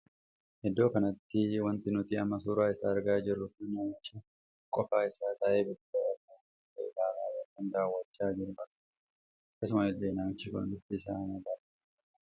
Iddoo kanatti wanti nuti amma suuraa isaa argaa jirru kun namicha qofaa isaa taa'ee bilbila irra waan tahe ilaalaa ykn daawwachaa jiruu argaa jirra. akkasuma illee namichi kun bifti isaa magaala kan tahedha.